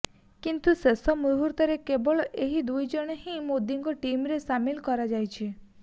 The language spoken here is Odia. କିନ୍ତୁ ଶେଷ ମୁହୂର୍ତ୍ତରେ କେବଳ ଏହି ଦୁଇଜଣଙ୍କୁ ହିଁ ମୋଦିଙ୍କ ଟିମରେ ସାମିଲ କରାଯାଇଛି